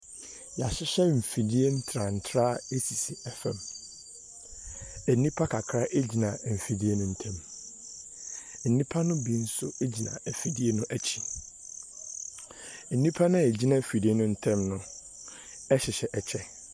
Wɔahyehyɛ mfidie ntraantraa sisi fam. Nnipa kakra gyina afidie no ntam. Nnipa no bi nso gyina afidie no akyi. Nnipa no a wɔgyina afidie no ntam no heyhyɛ ɛkyɛ.